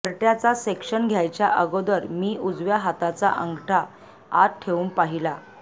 घरट्याचा section घ्यायच्या अगोदर मी उजव्या हाताचा अंगठा आत ठेवून पाहीला